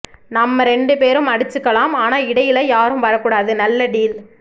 நம்ம ரெண்டு பேரும் அடிச்சிக்கிலாம் ஆனா இடையில்ல யாரும் வரக்கூடாது நல்ல டீல்